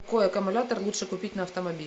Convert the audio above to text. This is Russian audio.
какой аккумулятор лучше купить на автомобиль